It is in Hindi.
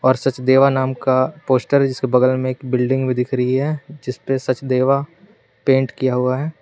और सचदेवा नाम का पोस्टर है जिसके बगल में बिल्डिंग भी दिख रही है जिसपे सचदेवा पेंट किया हुआ है।